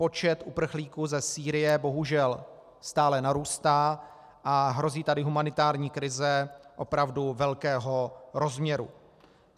Počet uprchlíků ze Sýrie bohužel stále narůstá a hrozí tady humanitární krize opravdu velkého rozměru.